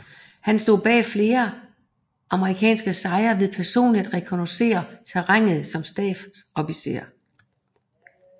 Han stod bag flere amerikanske sejre ved personligt at rekognoscere terrænet som stabsofficer